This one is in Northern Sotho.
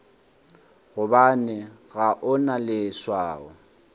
gobane ga o na leswao